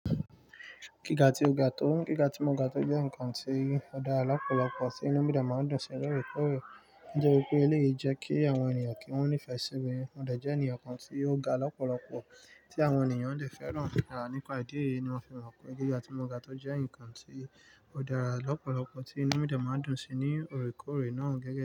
Gíga tí ó ga tó, gíga tí mo ga tó jẹ́ ǹkan tó dára lọ́pọ̀lọpọ̀ tí inú mídìà máa ń dùn sí ní òrékòórè. Ó jẹ́ wípé eléyìí jẹ́ kí àwọn ènìyàn kí wọ́n nífẹ̀ẹ́ síbi, wọ́n dẹ̀ jẹ́ ènìyàn kan tí ó ga lọ́pọ̀lọpọ̀ tí àwọn ènìyàn le fẹ́ràn. Rárá, nípa ìdí èyí ni mo fi mọ̀ pé gíga tí mo ga tó jẹ́ ǹkan tí ó dára lọ́pọ̀lọpọ̀ tí inú míde máa ń dùn sí ní òrékòórè náà gẹ́gẹ́.